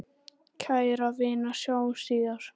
Kæra vina, sjáumst síðar.